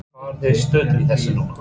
Hvar eru þið stödd í þessu núna?